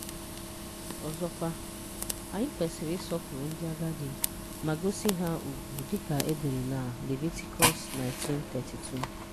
Ọzọkwa, anyị kwesịrị ịsọpụrụ ndị agadi ma gosi ha ùgwù dịka e dere na Levitikọs 19:32.